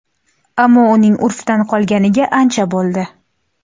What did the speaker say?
Ammo uning urfdan qolganiga ancha bo‘ldi.